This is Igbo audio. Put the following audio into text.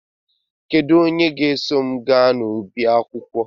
Kedu onye ga-eso m gaa n'ọba akwụkwọ?